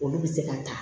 Olu bɛ se ka taa